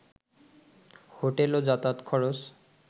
hotel ও যাতায়াত খরচ